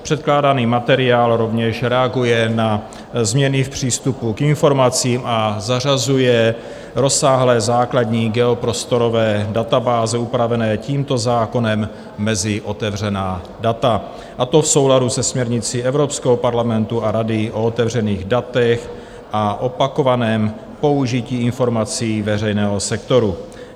Předkládaný materiál rovněž reaguje na změny v přístupu k informacím a zařazuje rozsáhlé základní geoprostorové databáze, upravené tímto zákonem, mezi otevřená data, a to v souladu se směrnicí Evropského parlamentu a Rady o otevřených datech a opakovaném použití informací veřejného sektoru.